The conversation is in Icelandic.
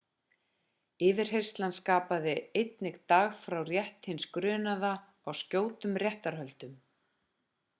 yfirheyrslan skapar einnig dag fyrir rétt hins grunaða á skjótum réttarhöldum